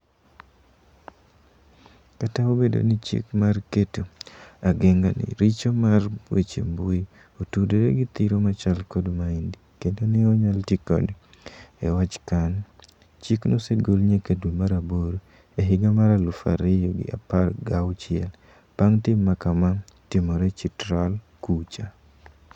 Kata obedo ni chik mar keto ageng'a ne richo mar weche mbui otudore gi thiro machal kod maendi kendo ne onyal tikode e wach Khan ,chik nosegol nyakadwe mar aboro e higa mar alufu ariyo gi apar gauchiel bang tim makama timore Chitral kucha.